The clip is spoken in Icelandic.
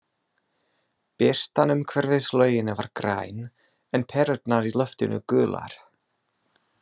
Birtan umhverfis laugina var græn, en perurnar í loftinu gular.